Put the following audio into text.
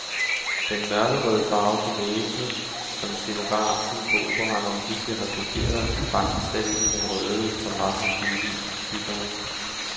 Den mørkerøde farve på væggene, som scenografen på operaen omhyggeligt har kopieret, er faktisk slet ikke den røde, som var hos violinbyggeren.